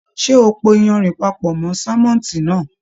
Ṣe o pò iyanrìn papọ mọ sánmọ́ntì náà?